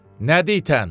Nə ditən?